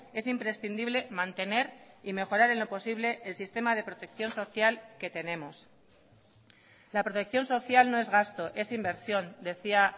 es imprescindible mantener y mejorar en lo posible el sistema de protección social que tenemos la protección social no es gasto es inversión decía